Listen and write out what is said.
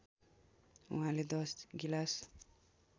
उहाँले १० गिलास